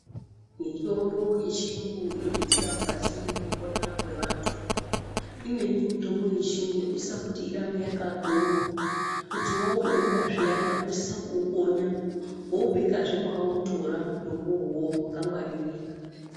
Mitombo yechiyungu inobetsera mukati mekupona kwevantu. Imweni mitombo yechiyungu inosisa kuti irambe yakakonywa. Kuti waubeura zviyana, unosisa kuukonya, woubekazve mwawautora mutombo iwowowo wakangwaririka.